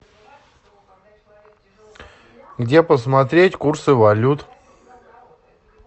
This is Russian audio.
где посмотреть курсы валют